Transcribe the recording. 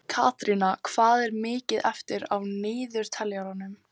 Katrína, hvað er mikið eftir af niðurteljaranum?